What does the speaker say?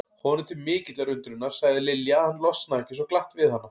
Honum til mikillar undrunar sagði Lilja að hann losnaði ekki svo glatt við hana.